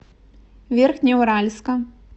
верхнеуральска